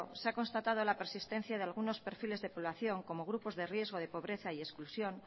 se ha constatado la persistencia de algunos perfiles de población como grupos de riesgo de pobreza y exclusión